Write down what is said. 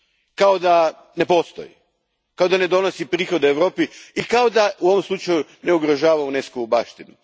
Kao da ne postoji, kao da ne donosi prihode Europi i kao da u ovom slučaju ne ugrožava UNESCO vu baštinu.